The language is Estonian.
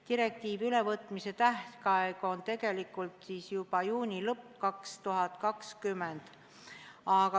Direktiivi ülevõtmise tähtaeg on tegelikult juba juuni lõpus 2020.